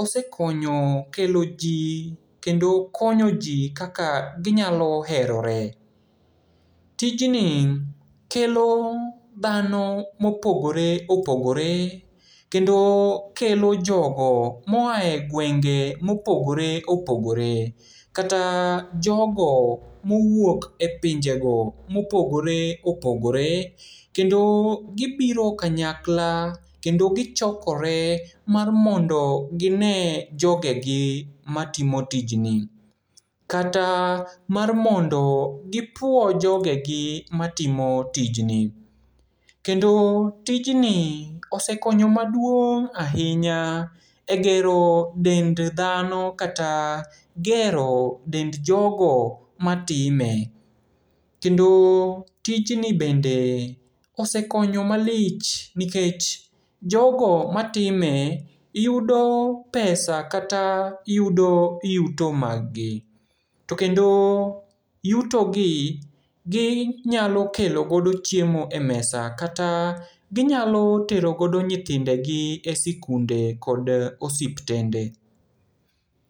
osekonyo kelo ji kendo konyo ji kaka ginyalo hehore. Tijni kelo dhano mopogore opogore, kendo kelo jogo moae gwenge mopogore opogore, kata jogo mowuok e pinjego mopogore opogore. Kendo gibiro kanyakla kendo gichokore mar mondo ginee jogegi matimo tijni. Kata mar mondo gipuo jogegi matimo tijni. Kendo tijni osekonyo maduong' ahinya e gero dend dhano, kata gero dend jogo matime. Kendo tjini bende osekonyo malich, nikech jogo matime yudo pesa kata yudo yuto margi. To kendo yutogi ginyalo kelo godo chiemo e mesa, kata ginyalo tero godo nyithindegi e sikunde kod osiptende.